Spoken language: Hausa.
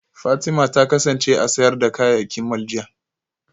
Fatima ta kasance a sayar da kayayyaki mall jiya